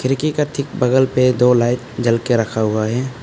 बगल में दो लाइट जल के रखा हुआ है।